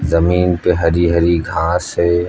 जमीन पे हरी हरी घास है।